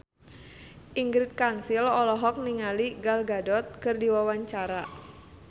Ingrid Kansil olohok ningali Gal Gadot keur diwawancara